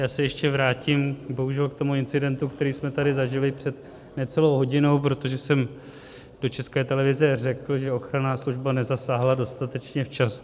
Já se ještě vrátím bohužel k tomu incidentu, který jsme tady zažili před necelou hodinou, protože jsem do České televize řekl, že ochranná služba nezasáhla dostatečně včas.